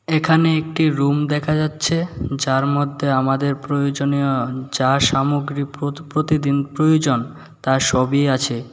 এখানে একটি রুম দেখা যাচ্ছে যার মধ্যে আমাদের প্রয়োজনীয় যা সামগ্রী প্রো প্রতিদিন প্রয়োজন তার সবই আছে।